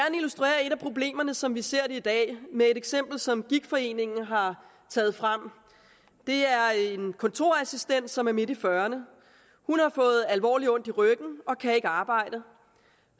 problemerne som vi ser det i dag med et eksempel som gigtforeningen har taget frem det er en kontorassistent som er midt i fyrrerne hun har fået alvorligt ondt i ryggen og kan ikke arbejde